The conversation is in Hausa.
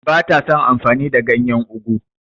Ba ta son amfani da ganyen ugwu.